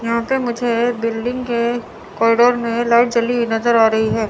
यहां पे मुझे बिल्डिंग के कॉरिडोर में लाइट जली हुई नजर आ रही है।